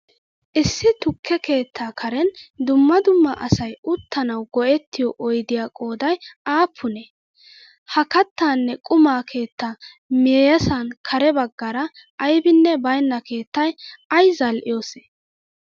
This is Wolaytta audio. Issi tukke keettaa karen dumma dumma asay uttanawu go'ettiyo oydiya qooday appunee? Ha kattane quma keettaa miyyessan kare baggaara aybinne baynna keettay ay zal'iyoose?